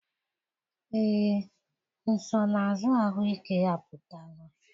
Ee, nsonaazụ ahụike apụtala.